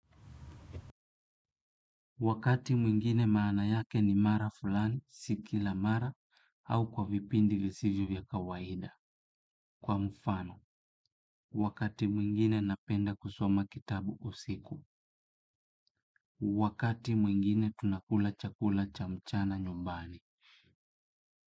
Wakati mwingine maana yake ni mara fulani, si kila mara, au kwa vipindi visivyo vya kawaida. Kwa mfano, wakati mwingine napenda kusoma kitabu usiku. Wakati mwingine tuna kula chakula cha mchana nyumbani.